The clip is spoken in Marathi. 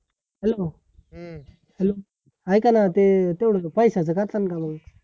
hello hello ऐकाना ते तेव्हडं पैश्याचं कर्षण मग